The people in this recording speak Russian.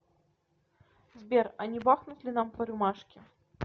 сбер а не бахнуть ли нам по рюмашке